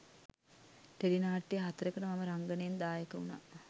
tele නාට්‍ය හතරකට මම රංගනයෙන් දායක වුණා